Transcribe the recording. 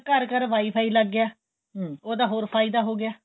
ਘਰ ਘਰ WiFi ਲੱਗ ਗਿਆ ਉਹਦਾ ਹੋਰ ਫਾਇਦਾ ਹੋ ਗਿਆ